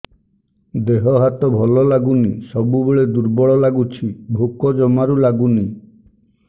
ଦେହ ହାତ ଭଲ ଲାଗୁନି ସବୁବେଳେ ଦୁର୍ବଳ ଲାଗୁଛି ଭୋକ ଜମାରୁ ଲାଗୁନି